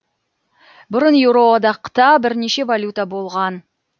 бұрын еуроодақта бірнеше валюта болған